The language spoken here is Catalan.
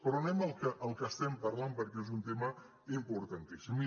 però anem al que estem parlant perquè és un tema im·portantíssim